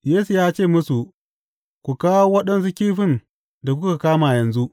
Yesu ya ce musu, Ku kawo waɗansu kifin da kuka kama yanzu.